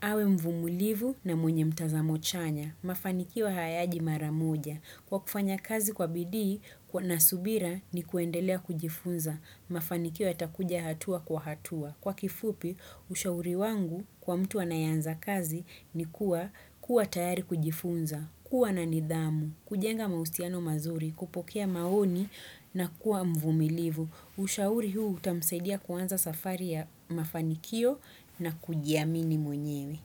awe mvumulivu na mwenye mtazamo chanya. Mafanikiwa hayaji maramoja. Kwa kufanya kazi kwa bidii na subira ni kuendelea kujifunza. Mafanikio ya takuja hatua kwa hatua. Kwa kifupi, ushauri wangu kwa mtu anayanza kazi ni kuwa kuwa tayari kujifunza, kuwa na nidhamu, kujenga maustiano mazuri, kupokea maoni na kuwa mvumilivu. Ushauri huu utamsaidia kuwanza safari ya mafanikio na kujiamini mwenyewe.